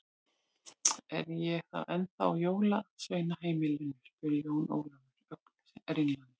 Er ég þá ennþá á jólasveinaheimilinu spurði Jón Ólafur, ögn ringlaður.